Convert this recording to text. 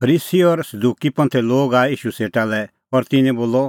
फरीसी और सदुकी लोग आऐ ईशू सेटा लै और तिन्नैं बोलअ